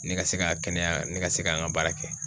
Ne ka se ka kɛnɛya ,ne ka se k'an ka baara kɛ.